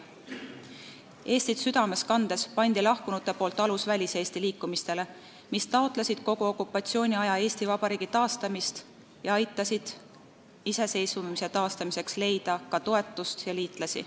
Eestit südames kandes panid kodumaalt lahkunud aluse väliseesti liikumistele, mis kogu okupatsiooniaja jooksul taotlesid Eesti Vabariigi taastamist ning aitasid iseseisvuse taastamiseks leida ka toetust ja liitlasi.